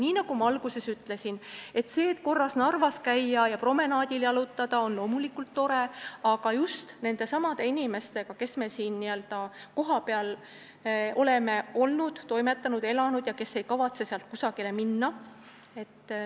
Nii nagu ma alguses ütlesin, korra Narvas käia ja promenaadil jalutada on loomulikult tore, aga ma pean silmas just neid inimesi, kes me siin kohapeal oleme olnud, toimetanud ja elanud ning kes ei kavatse siit kusagile minna.